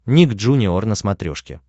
ник джуниор на смотрешке